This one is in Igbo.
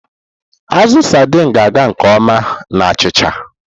Azụ Sardini na-aga nke ọma na achịcha.